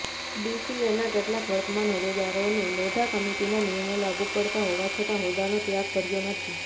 બીસીએના કેટલાંક વર્તમાન હોદ્દેદારોને લોઢા કમિટીના નિયમો લાગુ પડતા હોવાછતાં હોદ્દાનો ત્યાગ કર્યો નથી